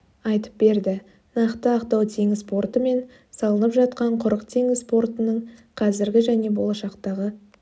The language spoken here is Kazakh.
айтып берді нақты ақтау теңіз порты мен салынып жатқан құрық теңіз портының қазіргі және болашақтағы